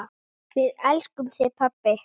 Við elskum þig pabbi.